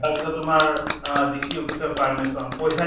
তাৰ পিছত তোমাৰ অহ DC office ৰ permission পইছা